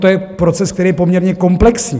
To je proces, který je poměrně komplexní.